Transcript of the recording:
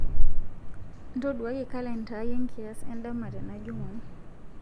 ntoduakaki kalenda aai enkiyas endama tena jumaa